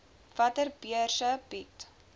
watter beurse bied